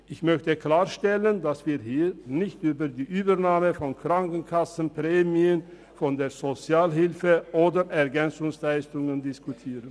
Ich möchte klarstellen, dass wir hier nicht über die Übernahme von Krankenkassenprämien von der Sozialhilfe oder den EL diskutieren.